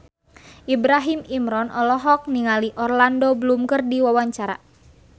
Ibrahim Imran olohok ningali Orlando Bloom keur diwawancara